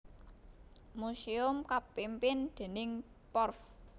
Museum kapimpin déning Porf